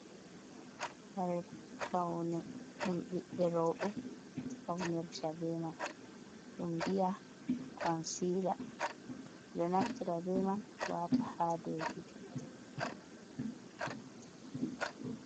Kare faune ɗum bebbe robe faunirta be man. Ɗum biya consila ɗo naftara be man wata ha ɗow gite.